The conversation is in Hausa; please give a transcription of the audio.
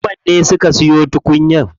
Muhammad ne suka siyo tukunyar.